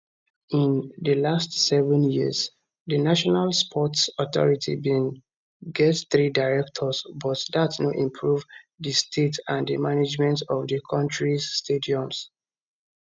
in di last seven years di national sports authority bin get three directors but dat no improve di state and management of di kontris stadiums